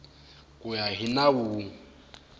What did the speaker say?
ku ya hi nawu wun